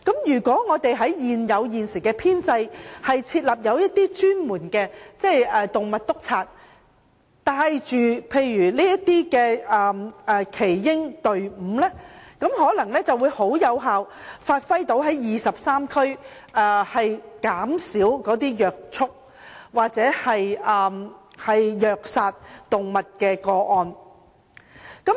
如果在現有編制下設立專門的"動物督察"，帶領耆英隊伍等，便能有效減少23區虐畜或虐殺動物的個案。